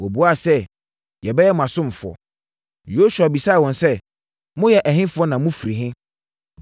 Wɔbuaa sɛ, “Yɛbɛyɛ mo asomfoɔ.” Yosua bisaa wɔn sɛ, “Moyɛ ɛhefoɔ na mofiri he?”